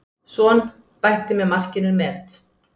Son bætti með markinu met.